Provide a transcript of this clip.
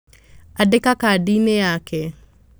Andĩka kadi-inĩ yake.